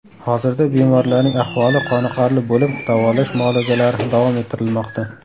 Hozirda bemorlarning ahvoli qoniqarli bo‘lib, davolash muolajalari davom ettirilmoqda.